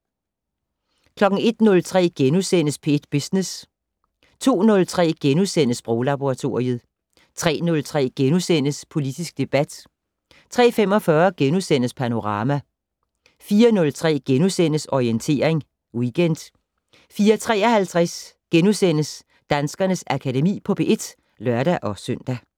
01:03: P1 Business * 02:03: Sproglaboratoriet * 03:03: Politisk debat * 03:45: Panorama * 04:03: Orientering Weekend * 04:53: Danskernes Akademi på P1 *(lør-søn)